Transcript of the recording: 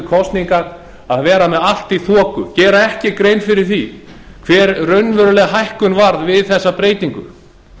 kosningar að vera með allt í þoku gera ekki grein fyrir því hver raunveruleg hækkun varð við þessa breytingu